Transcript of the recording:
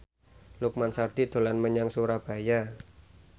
Lukman Sardi dolan menyang Surabaya